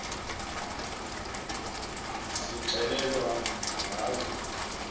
sixele lwa ngazo